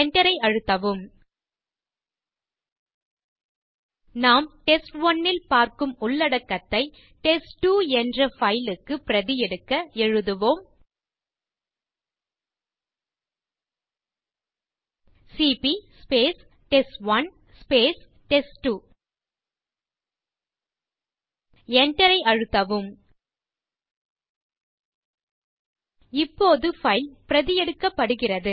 enter ஐ அழுத்தவும் நாம் டெஸ்ட்1 ல் பார்க்கும் உள்ளடக்கத்தை டெஸ்ட்2 என்ற பைல் க்கு பிரதி எடுக்க எழுதுவோம் சிபி டெஸ்ட்1 டெஸ்ட்2 enter ஐ அழுத்தவும் இப்போது பைல் பிரதி எடுக்கப்படுகிறது